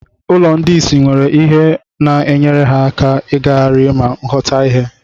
Ụlọ ndị isi nwere ihe na-enyere ha aka ịgagharị ma ghọta ihe.